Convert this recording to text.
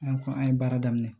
An ko an ye baara daminɛ